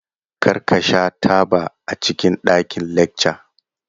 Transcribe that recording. Kar ka sha taba a cikin ɗakin lacca!